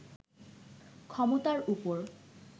ক্ষমতার উপর